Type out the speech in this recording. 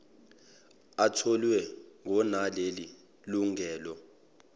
atholwe ngonaleli lungelo